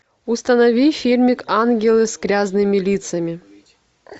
установи фильмик ангелы с грязными лицами